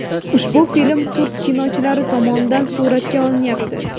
Ushbu film turk kinochilari tomonidan suratga olinyapti.